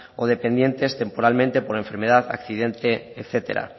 o dependientes temporalmente por enfermedad accidente etcétera